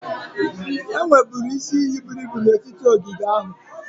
Enwerebu isi iyi buru ibu n'etiti ogige ahụ.